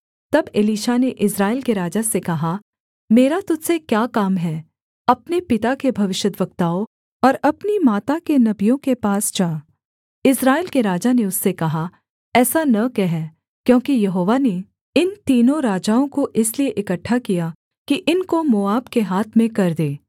तब एलीशा ने इस्राएल के राजा से कहा मेरा तुझ से क्या काम है अपने पिता के भविष्यद्वक्ताओं और अपनी माता के नबियों के पास जा इस्राएल के राजा ने उससे कहा ऐसा न कह क्योंकि यहोवा ने इन तीनों राजाओं को इसलिए इकट्ठा किया कि इनको मोआब के हाथ में कर दे